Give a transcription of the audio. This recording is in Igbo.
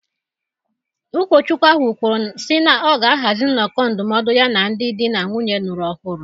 Ụkọchukwu ahụ kwuru sị na ọ ga ahazi nnoko ndụmọdụ ya na ndị dị na nwunye lụrụ ọhụrụ